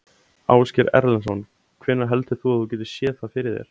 Ásgeir Erlendsson: Hvenær heldur þú að þú getir séð það fyrir þér?